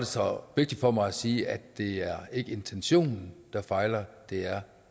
så vigtigt for mig at sige at det ikke er intentionen der fejler det er